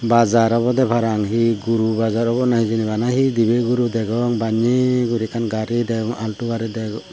bazar obode parang he guri bazar obo na hijeni bana he dibe guru degong banne guri ekkan gari degong altu gari degong.